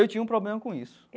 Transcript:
Eu tinha um problema com isso.